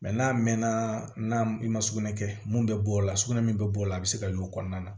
Mɛ n'a mɛnna n'a i ma sugunɛ kɛ mun bɛ bɔ o la sugunɛ min bɛ bɔ o la a bɛ se ka y'o kɔnɔna na